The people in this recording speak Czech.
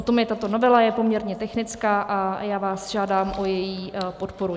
O tom je tato novela, je poměrně technická a já vás žádám o její podporu.